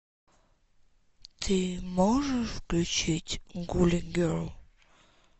ты можешь включить гули герл